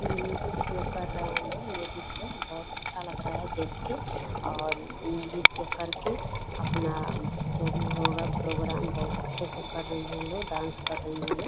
ये नृत्य कर रहे हैं लोग लेडीज लोग बहुत अच्छा लग रहा है देख के और नृत्य कर के अपना जो भी होगा प्रोग्राम बहुत अच्छे से कर रही हैं लोग डांस कर रही है लोग।